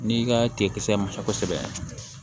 N'i ka tiga musa kosɛbɛ